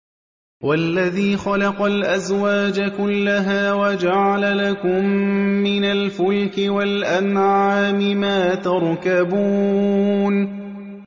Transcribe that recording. وَالَّذِي خَلَقَ الْأَزْوَاجَ كُلَّهَا وَجَعَلَ لَكُم مِّنَ الْفُلْكِ وَالْأَنْعَامِ مَا تَرْكَبُونَ